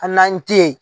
An n'an te yen